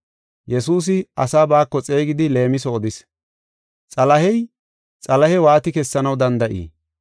Yesuusi asaa baako xeegidi leemiso odis. “Xalahey Xalahe waati kessanaw danda7ii?